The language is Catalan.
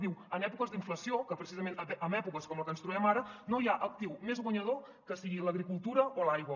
diu en èpoques d’inflació precisament en èpoques com en les que ens trobem ara no hi ha actiu més guanyador que sigui l’agricultura o l’aigua